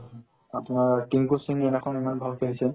আপোনাৰ সেইদিনাখন ইমান ভাল খেলিছে